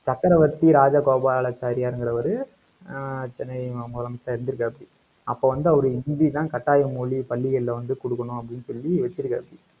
சக்கரவர்த்தி ராஜகோபாலச்சாரியார்ங்கிறவரு, ஆஹ் சென்னை மு~ முதலமைச்சரா இருந்துருக்காப்டி. அப்ப வந்து, அவரு இந்தி தான் கட்டாய மொழி, பள்ளிகள்ல வந்து குடுக்கணும் அப்டின்னு சொல்லி வச்சிருக்காரு